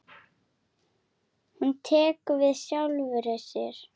Hún tekur við sjálfri sér.